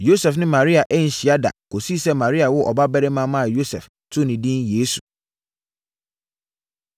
Yosef ne Maria anhyia da kɔsii sɛ Maria woo ɔbabarima maa Yosef too ne din “Yesu.”